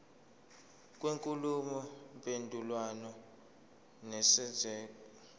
kwenkulumo mpendulwano nesenzeko